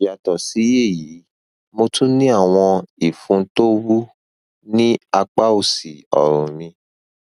yàtọ sí èyí mo tún ní àwọn ìfun tó wú ní apá òsì ọrùn mi